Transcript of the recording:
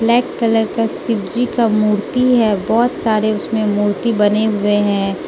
Black colour का शिवजी का मूर्ति है बहोत सारे उसमें मूर्ति बने हुए हैं।